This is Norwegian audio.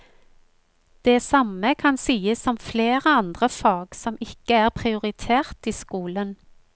Det samme kan sies om flere andre fag som ikke er prioritert i skolen.